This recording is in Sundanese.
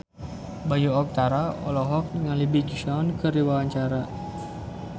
Bayu Octara olohok ningali Big Sean keur diwawancara